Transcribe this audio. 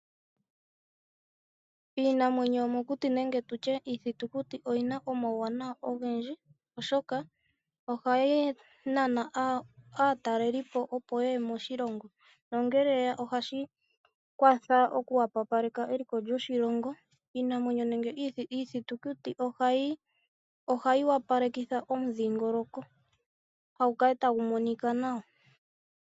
Iinamwenyo yomokuti nenge tu tye iithitukuti oyindji oyi na omauwanawa ogendji, oshoka ohayi nana aatalelipo, opo ye ye moshilongo. Ngele aatalelipo ye ya moshilongo, nena ohashi kwathele okuhwepopeka eliko lyoshilongo. Iithitukuti ohayi kaleke wo omudhingoloko gwoshilongo opo gu kale tagu monika gwa opala nawa.